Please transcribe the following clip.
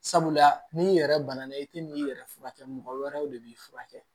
Sabula n'i yɛrɛ bana na i tɛ na i yɛrɛ furakɛ mɔgɔ wɛrɛw de b'i furakɛ